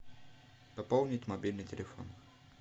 пополнить мобильный телефон